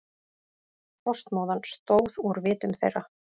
Frostmóðan stóð úr vitum þeirra.